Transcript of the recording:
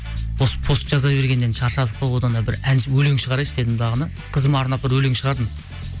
осы пост жаза бергеннен шаршадық қой одан да бір өлең шығарайықшы дедім дағыны қызыма арнап бір өлең шығардым